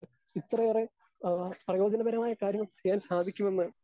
speaker 2 ഇത്രയേറെ ആ പ്രയോജനപരമായ കാര്യങ്ങൾ ചെയ്യാൻ സാധിക്കുമെന്ന്